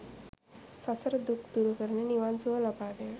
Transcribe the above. සසර දුක් දුරු කරන, නිවන් සුව ලබාදෙන